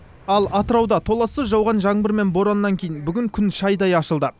ал атырауда толассыз жауған жаңбыр мен бораннан кейін бүгін күн шайдай ашылды